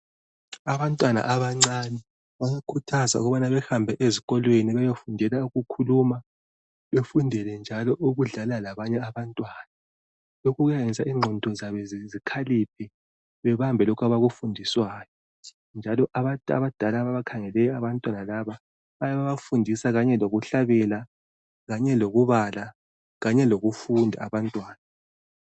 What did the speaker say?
abantwana abancinyane bayakhuthazwa ukubana bahamabe ezikolweni beyofundela ukukhuluma befundele njalo ukudlala labanye abantwana lokhu kuyayenza ingqondo zabo zikhaliphe bebambe lokhu abakufundiswayo njalo abantu abadala ababakhangeleyo abantwana laba bayafundisa kanye lokuhlabela kanye lokubala kanye lokufunda abantwana